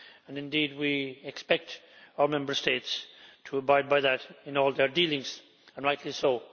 Indeed, we expect all Member States to abide by that in all their dealings, and rightly so.